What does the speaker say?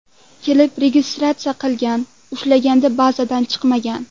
Kelib ‘registratsiya’ qilgan, ushlaganda bazadan chiqmagan.